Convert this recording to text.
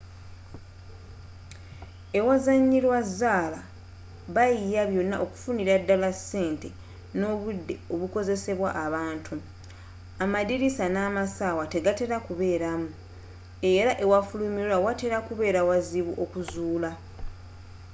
ewazanyirwa zaala bayiiya byonna okufunira ddala ku ssente nobudde obukozesebwa abantu amadiriisa namassaawa tegatera kubeeramu era ewafulumirwa watera kubeera wazibu okuzuulwa